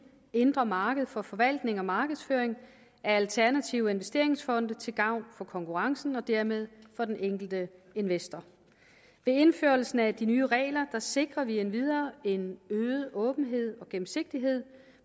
indre marked for forvaltning og markedsføring af alternative investeringsfonde til gavn for konkurrencen og dermed for den enkelte investor med indførelsen af de nye regler sikrer vi endvidere en øget åbenhed og gennemsigtighed